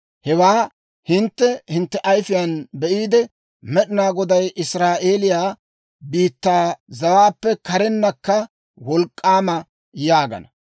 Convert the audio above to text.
Hewaa hintte hintte ayifiyaan be'iide, «Med'ina Goday Israa'eeliyaa biittaa zawaappe karennakka wolk'k'aama» yaagana.